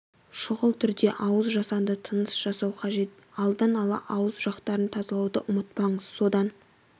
шұғыл түрде ауыз жасанды тыныс жасау қажет алдын ала ауыз жақтарын тазалауды ұмытпаңыз содан